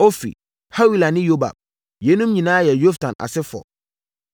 Ofir, Hawila ne Yobab. Yeinom nyinaa yɛ Yoktan asefoɔ.